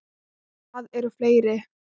Og það eru fleiri.